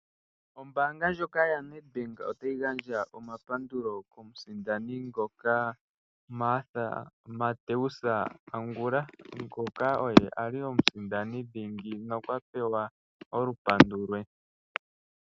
Ombaanga yoNedbank otayi gandja omahaleloyambeko kuMathew Angula ngoka ali omusindani dhingi nokwapewa olupandu lwe.